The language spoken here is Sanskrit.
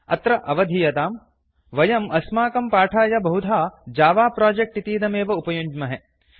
अत्र अवधीयताम् वयम् अस्माकं पाठाय बहुधा जव प्रोजेक्ट् इतीदमेव उपयुञ्ज्महे